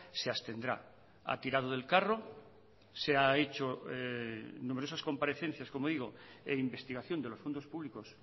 se abstendrá ha tirado del carro se ha hecho numerosas comparecencias como digo e investigación de los fondos públicos